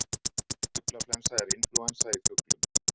Fuglaflensa er inflúensa í fuglum.